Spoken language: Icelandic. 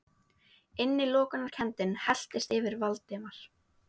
Innilokunarkenndin helltist yfir Valdimar.